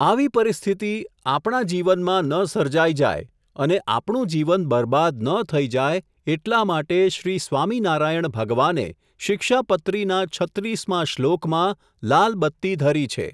આવી પરિસ્થિતિ, આપણા જીવનમાં ન સર્જાઇ જાય, અને આપણું જીવન બરબાદ ન થઇ જાય, એટલા માટે શ્રી સ્વામિનારાયણ ભગવાને, શિક્ષાપત્રીના છત્રીસ માં શ્લોક માં, લાલબત્તી ધરી છે.